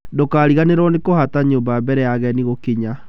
Ndũkariganĩrũo nĩ kũhaata nyũmba mbere ya ageni gũkinya.